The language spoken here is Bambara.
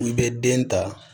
I bɛ den ta